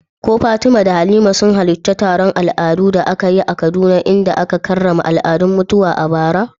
Ko Fatima da Halima sun halarci taron al'adu da aka yi a Kaduna inda aka karrama al'adun mutuwa a bara?